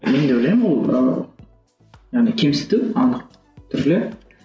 мен де ойлаймын ол ы яғни кемсіту анық түрде